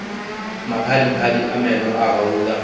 maphadiphadi a meno a gauta